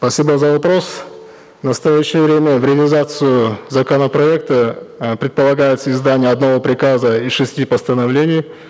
спасибо за вопрос в настоящее время в реализацию законопроекта э предполагается издание одного приказа и шести постановлений